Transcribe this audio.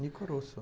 Nicorosso.